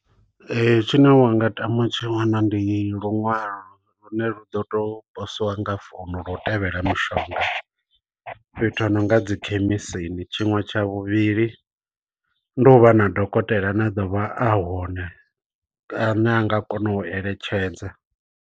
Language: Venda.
Tshine wanga tama u tshi wana ndi luṅwalo lune lu ḓo to posiwa nga founu lo u tevhela mishonga fhethu ho no nga dzi khemisini. Tshiṅwe tsha vhuvhili ndi u vha na dokotela ane a ḓo vha a hone a ne a nga kona u eletshedza.